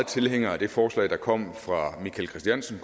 tilhængere af det forslag som kom fra michael christiansen